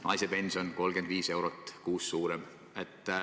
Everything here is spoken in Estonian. Naise pension oli 35 eurot kuus suurem.